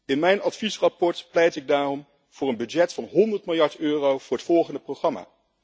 In mijn adviesrapport pleit ik daarom voor een begroting van 100 miljard euro voor het volgende programma.